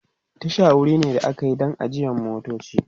Tasha wuri ne da akayi Dan ajiyan motoci